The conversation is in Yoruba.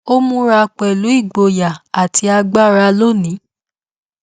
ó múra pẹlú igboyà àti agbára lónìí